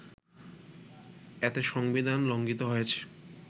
এতে সংবিধান লংঘিত হয়েছে